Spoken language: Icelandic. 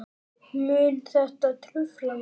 Mun þetta trufla mig?